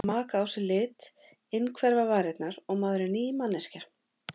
Þetta að maka á sig lit, innhverfa varirnar og maður er ný manneskja.